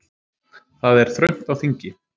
Það er þröngt á þingi